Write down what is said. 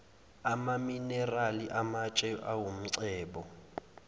amaminerali amatshe awumcebo